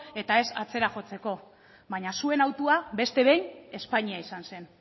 eta ez atzera jotzeko baina zuen hautua beste behin espainia izan zen